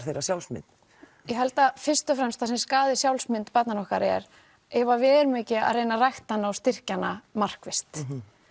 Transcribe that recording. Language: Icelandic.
þeirra sjálfsmynd ég held að fyrst og fremst það sem skaði sjálfsmynd barnanna okkar er ef að við erum ekki að reyna að rækta hana og styrkja hana markvisst